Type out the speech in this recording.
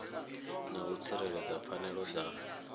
na u tsireledza pfanelo dza